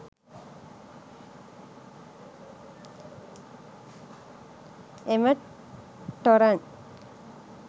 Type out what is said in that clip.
එම ටොරන්ට්